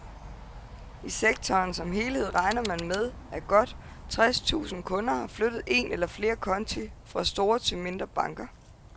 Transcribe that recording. I sektoren som helhed regner man med, at godt tres tusind kunder har flyttet en eller flere konti fra store til mindre banker.